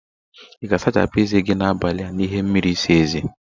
Ị ga-asachapụ eze gi n'abalị a n'ime ihe mmiri ịsa eze?